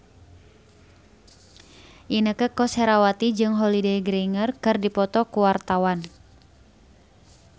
Inneke Koesherawati jeung Holliday Grainger keur dipoto ku wartawan